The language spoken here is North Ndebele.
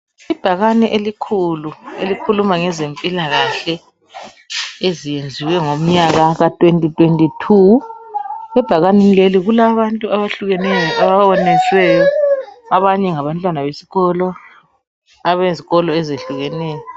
Ibhakane elikhulu elikhuluma ngezempilakahle ,eziyenziwe ngomnyaka ka 2022, ebhakaneni leli kulabantu abehlukeneyo ababonisiweyo abanye ngabantwana besikolo, abezikolo ezehlukeneyo .